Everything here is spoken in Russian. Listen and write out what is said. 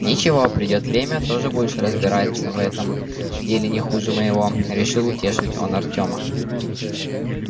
ничего придёт время тоже будешь разбираться в этом деле не хуже моего решил утешить он артема